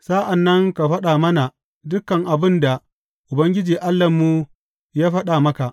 Sa’an nan ka faɗa mana dukan abin da Ubangiji Allahnmu ya faɗa maka.